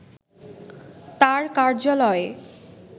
তার কার্যালয়ে